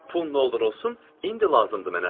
Pul nə olur olsun indi lazımdır mənə.